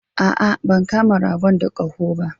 A'a ban kama ragon da koho ba?